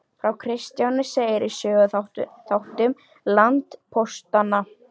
Frá Kristjáni segir í Söguþáttum landpóstanna.